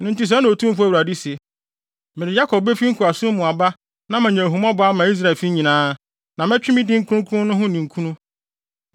“Ɛno nti sɛɛ na Otumfo Awurade se: Mede Yakob befi nkoasom mu aba na manya ahummɔbɔ ama Israelfo nyinaa, na mɛtwe me din kronkron no ho ninkunu.